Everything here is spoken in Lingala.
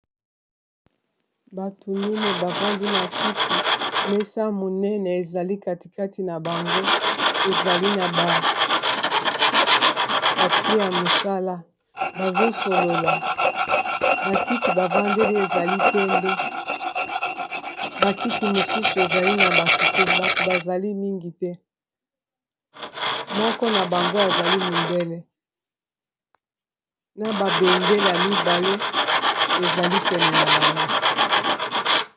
Bato mineyi bavandi na kiti mesa ya monene ezali katikati na bango ezali na ba papier ya mosala bazo solola ba kiti bavandeli ezali pembe ba kiti mosusu ezali na bato te bato bazali mingi te moko na bango azali mondele na ba bendela mibale ezali pene na bango.